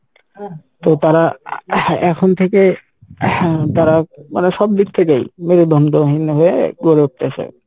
তো তারা হ্যাঁ এখন থেকে হ্যাঁ তারা মানে সব দিক থেকেই মেরুদন্ডহীন হয়ে গড়ে উঠতেসে।